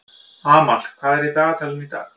Amal, hvað er í dagatalinu í dag?